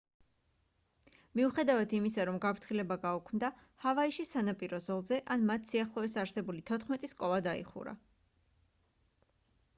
მიუხედავად იმისა რომ გაფრთხილება გაუქმდა ჰავაიში სანაპირო ზოლზე ან მათ სიახლოვეს არსებული თოთხმეტი სკოლა დაიხურა